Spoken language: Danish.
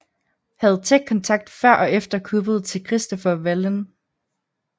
Havde tæt kontakt før og efter kuppet til Christoffer Wallin